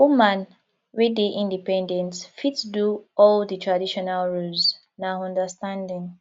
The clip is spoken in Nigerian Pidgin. woman wey dey independent fit do all di traditional roles na understanding